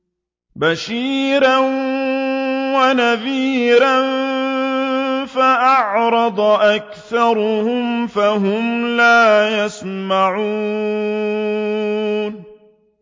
بَشِيرًا وَنَذِيرًا فَأَعْرَضَ أَكْثَرُهُمْ فَهُمْ لَا يَسْمَعُونَ